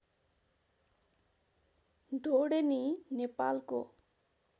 ढोडेनी नेपालको